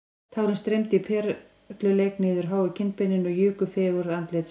Tárin streymdu í perluleik niður háu kinnbeinin og juku fegurð andlitsins